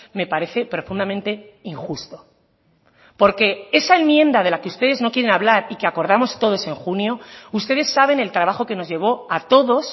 me parece profundamente injusto porque esa enmienda de la que ustedes no quieren hablar y que acordamos todos en junio ustedes saben el trabajo que nos llevó a todos